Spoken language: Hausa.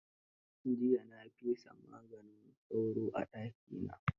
Jiya na fesa maganin sauro a dakina.